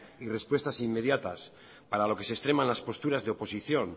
y respuestas inmediatas para lo que se extrema en las posturas de oposición